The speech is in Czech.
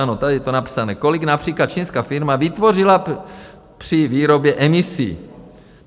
Ano, tady je to napsané, kolik například čínská firma vytvořila při výrobě emisí.